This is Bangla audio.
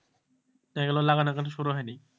এই গুলো লাগানো এখনো শুরু হয়নি,